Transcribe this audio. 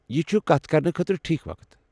یہِ چھُ کتھ کرنہٕ خٲطرٕ ٹھیٖک وقت۔